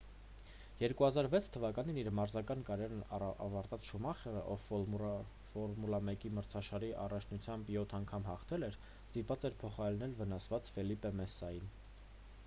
2006 թվականին իր մարզական կարիերան ավարտած շումախերը ով ֆորմուլա 1 մրցաշարի առաջնությունում յոթ անգամ հաղթել էր ստիպված էր փոխարինել վնասված ֆելիպե մասսային